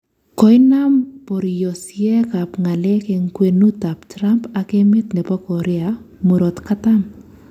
Koinam boryosiek ab nga'lek en kwenut ab Trump ak emet nebo Korea murot katam